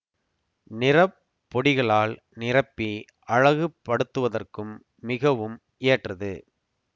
நிற பொடிகளால் நிரப்பி அழகு படுத்துவதற்கும் மிகவும் ஏற்றது